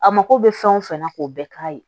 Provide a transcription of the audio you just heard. A mako bɛ fɛn o fɛn na k'o bɛɛ k'a ye